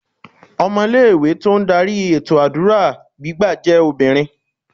Ọmọ ilé ìwé tí ó ń darí ètò àdúrà gbígbà jẹ́ obìnrin.